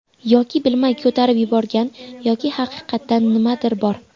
Yoki bilmay ko‘tarib yuborgan yoki haqiqatdan nimadir bor.